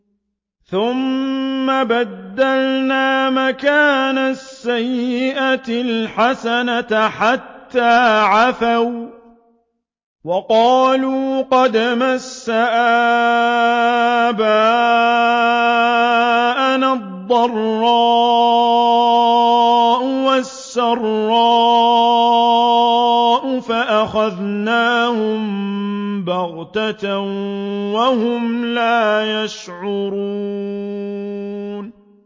ثُمَّ بَدَّلْنَا مَكَانَ السَّيِّئَةِ الْحَسَنَةَ حَتَّىٰ عَفَوا وَّقَالُوا قَدْ مَسَّ آبَاءَنَا الضَّرَّاءُ وَالسَّرَّاءُ فَأَخَذْنَاهُم بَغْتَةً وَهُمْ لَا يَشْعُرُونَ